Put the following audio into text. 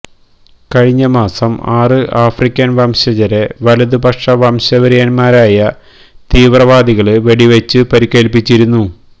കഴിഞ്ഞ മാസം ആറ് ആഫ്രിക്കന് വംശജരെ വലതുപക്ഷ വംശവെറിയന്മാരായ തീവ്രവാദികള് വെടിവച്ച് പരിക്കേല്പ്പിച്ചിരുന്നു